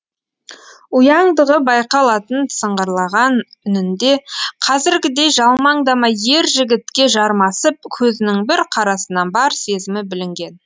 ұяңдығы байқалатын сыңғырлаған үнінде қазіргідей жалмаңдамай ер жігітке жармасып көзінің бір қарасынан бар сезімі білінген